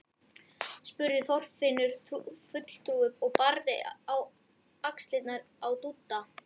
spurði Þorfinnur fulltrúi og barði á axlirnar á Dúdda.